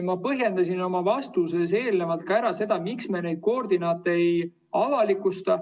Ma põhjendasin oma vastuses eelnevalt ära, miks me neid koordinaate ei avalikusta.